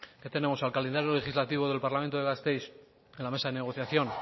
qué tenemos al calendario legislativo del parlamento de gasteiz en la mesa de negociación